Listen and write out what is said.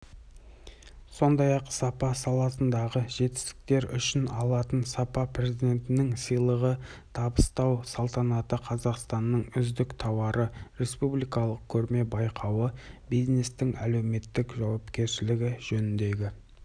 сондай-ақ сапа саласындағы жетістіктер үшін алтын сапа президентінің сыйлығын табыстау салтанаты қазақстанның үздік тауары республикалық көрме-байқауы бизнестің әлеуметтік жауапкершілігі жөніндегі